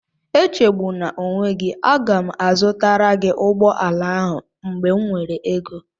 Echegbuna onwe gị, aga m azụtara gị ụgbọala ahụ mgbe m nwere ego